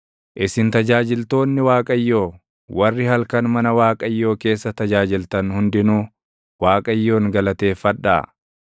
Isin tajaajiltoonni Waaqayyoo, warri halkan mana Waaqayyoo keessa tajaajiltan hundinuu, Waaqayyoon galateeffadhaa.